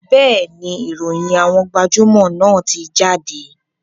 Bẹ́ẹ̀ni, ìròyìn àwọn gbajúmò náà ti jáde